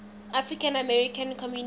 african american community